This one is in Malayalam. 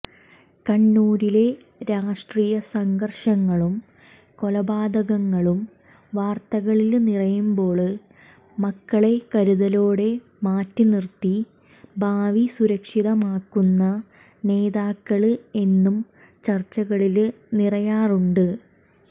കണ്ണൂരിലെ രാഷ്ട്രീയസംഘര്ഷങ്ങളും കൊലപാതകങ്ങളും വാര്ത്തകളില് നിറയുമ്പോള് മക്കളെ കരുതലോടെ മാറ്റിനിര്ത്തി ഭാവി സുരക്ഷിതമാക്കുന്ന നേതാക്കള് എന്നും ചര്ച്ചകളില് നിറയാറുണ്ട്